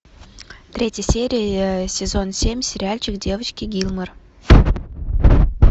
третья серия сезон семь сериальчик девочки гилмор